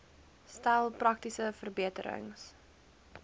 stel praktiese verbeterings